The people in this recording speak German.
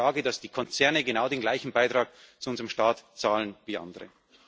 Es geht um die Frage, dass die Konzerne genau den gleichen Beitrag zu unserem Staat zahlen wie andere.